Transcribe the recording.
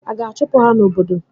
A ga-achụpụ ha n'obodo?